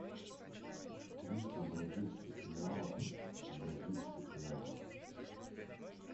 триста бразильских реалов в бразильских реалах